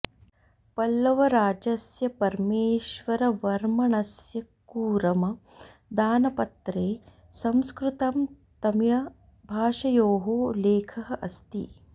पल्लवराजस्य परमेश्वरवर्मणस्य कूरम दानपत्रे संस्कृतं तमिळ भाषयोः लेखः अस्ति